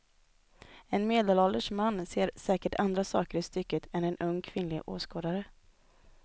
En medelålders man ser säkert andra saker i stycket än en ung kvinnlig åskådare.